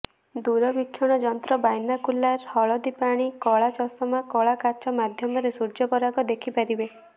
ଦୂରବିକ୍ଷୀଣ ଯନ୍ତ୍ର ବାଇନାକୁଲାର ହଳଦି ପାଣି କଳା ଚଷମା କଳା କାଚ ମାଧ୍ୟମରେ ସୂର୍ଯ୍ୟପରାଗ ଦେଖିପାରିବେ